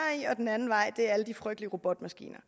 i og den anden vej er alle de frygtelige robotmaskiner